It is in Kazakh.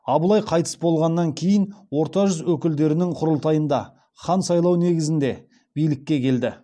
абылай қайтыс болғаннан кейін орта жүз өкілдерінің құрылтайында хан сайлау негізінде билікке келді